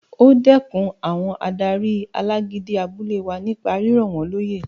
O dẹkùn àwọn adarí alágídí abúlé wa nípa rírọ̀ wọ́n lóyè